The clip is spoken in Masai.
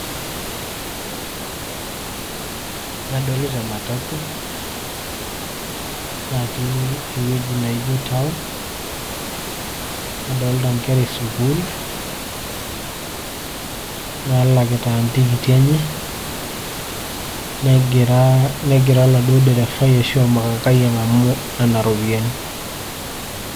Adolita e matatu natii ewueji naijo town, nadolita inkera e sukuul naalakita intikiti enye negira oladuo derefai arashu ormakangai ang'amu nena ropiyiani.